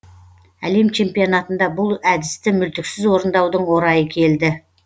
әлем чемпионатында бұл әдісті мүлтіксіз орындаудың орайы келді